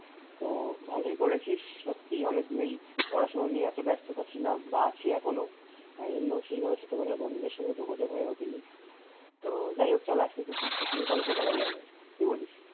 তো ভালোই করেছিস সত্যি অনেক দিন ওই পড়াশোনা নিয়ে এতো ব্যাস্ত ছিলাম বা আছি এখনো তাই জন্য ছোটবেলার বন্ধুদের সাথে সেই ভাবে যোগ যোগ হয়ে ওঠেনি তো যাইহোক চল আজকে খুব চুটিয়ে গল্প করা যাবে, কি বলিস?